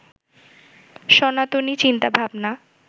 সনাতনী চিন্তাভাবনা